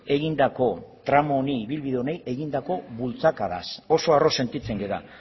egindako tramu honi ibilbide honi eginda bultzakadaz oso arro sentitzen gera